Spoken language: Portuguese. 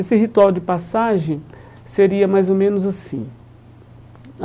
Esse ritual de passagem seria mais ou menos assim.